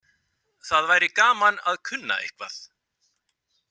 Það væri gaman að kunna eitthvað.